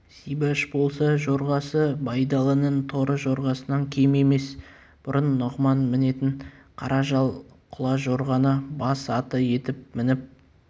зибаш болса жорғасы байдалының торы жорғасынан кем емес бұрын нұғыман мінетін қара жал құлажорғаны бас аты етіп мініп